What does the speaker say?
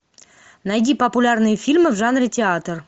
найди популярные фильмы в жанре театр